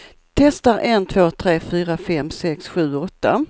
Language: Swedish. Testar en två tre fyra fem sex sju åtta.